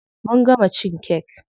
Mun gama cin kek.